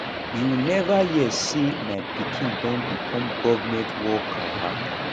you never hear say my pikin don become government worker